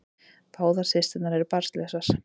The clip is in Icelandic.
Báðar systurnar eru barnlausar